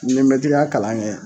n'i ye mɛtiriya kalan kɛ